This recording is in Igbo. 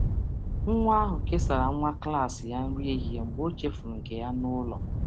Nwa um ahụ kesara nwa um klas ya nri um ehihie mgbe ọ chefuru nke ya n’ụlọ.